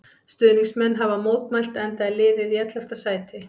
Stuðningsmenn hafa mótmælt enda er liðið í ellefta sæti.